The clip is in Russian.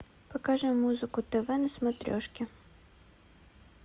покажи музыку тв на смотрешке